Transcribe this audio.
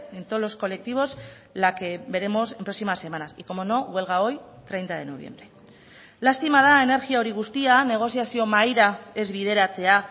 en todos los colectivos la que veremos en próximas semanas y como no huelga hoy treinta de noviembre lastima da energia hori guztia negoziazio mahaira ez bideratzea